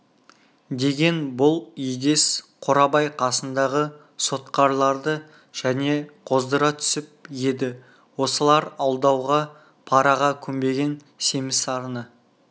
деген бұл егес қорабай қасындағы сотқарларды және қоздыра түсіп еді осылар алдауға параға көнбеген семіз сарыны